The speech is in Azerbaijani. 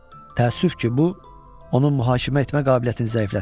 Təəssüf ki, bu onun mühakimə etmə qabiliyyətini zəiflətmişdi.